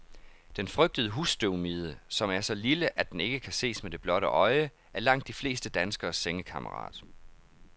Den frygtede husstøvmide, som er så lille, at den ikke kan ses med det blotte øje, er langt de fleste danskeres sengekammerat.